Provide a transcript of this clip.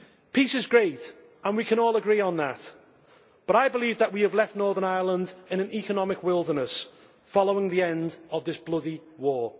Peace is great, and we can all agree on that, but I believe that we have left Northern Ireland in an economic wilderness following the end of this bloody war.